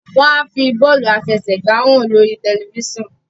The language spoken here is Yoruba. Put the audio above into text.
wan fí bọọlu afẹsẹgba hàn lórí tẹlifísàn.